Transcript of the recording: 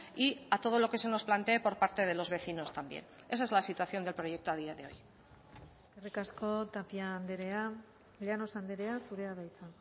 y a todo lo que se nos plantee por parte de los vecinos también esa es la situación del proyecto a día de hoy eskerrik asko tapia andrea llanos andrea zurea da hitza